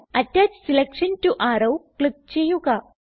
അറ്റച്ച് selection to arrow click ചെയ്യുക